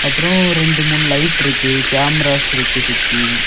அப்பரோ ரெண்டு மூணு லைட் இருக்கு கேமராஸ் இருக்கு சுத்தி.